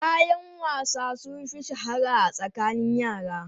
Kayan wasa sun fi shahara a tsakanin yara.